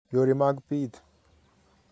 Yore mag pith